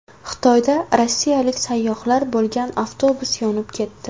Xitoyda rossiyalik sayyohlar bo‘lgan avtobus yonib ketdi.